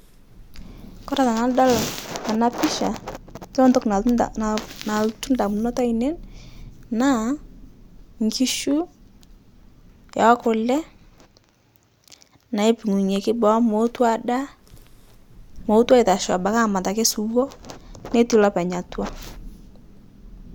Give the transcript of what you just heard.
Kore tanadol ana pisha, yiolo ntoki nalotu nal nalotu ndamunot ainen naa nkishu'ekule naapung'unyeki boo mooti adaa mootu aitashoo abaki ake aamat suwo, netii lopeny atwa.